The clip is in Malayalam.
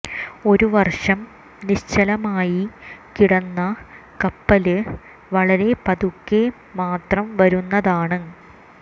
ഒരു വര്ഷം നിശ്ചലമായി കിടന്ന കപ്പല് വളരെ പതുക്കെ മാത്രം വരുന്നതാണ്